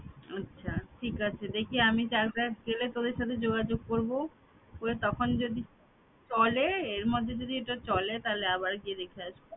আচ্ছা ঠিক আছে দেখি আমি চাকদা গেলে তোদের সাথে যোগাযোগ করবো করে তখন যদি চলে এরমধ্যে এটা যদি চলে তাহলে আবার গিয়ে দেখে আসবো